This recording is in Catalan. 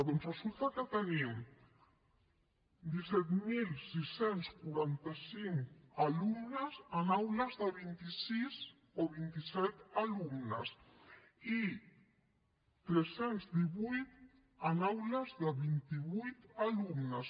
doncs resulta que tenim disset mil sis cents i quaranta cinc alumnes en aules de vint sis o vint set alumnes i tres cents i divuit en aules de vint vuit alumnes